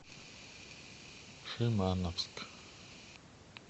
шимановск